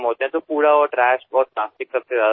अशावेळी कचरा घाण आणि प्लास्टिक सर्वात जास्त दिसते